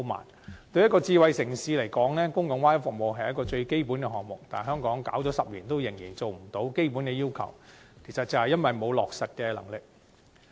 對於一個智慧城市來說，公共 Wi-Fi 服務是最基本項目，但香港推行了10年仍達不到基本要求，就是因為欠缺落實能力。